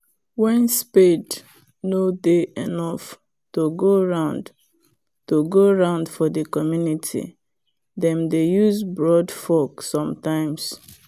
when spade nor dey enough to go round to go round for the community them dey use broadfork sometimes